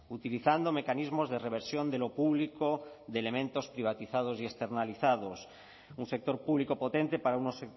utilizando mecanismos de reversión de lo público de elementos privatizados y externalizados un sector público potente para unos